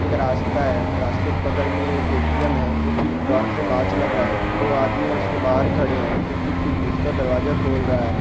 एक रास्ता है रास्ते के बगल मे एक ए_टी_एम है जो की बाहर से काँच लगा है दो आदमी है उसके बाहर खड़े है जो की उसका दरवाजा खोल रहा है।